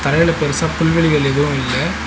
மேல பெருசா புல்வெளிகள் எதுவு இல்ல.